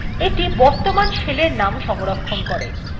এইটি বর্তমান শেলের name সংরক্ষণ করে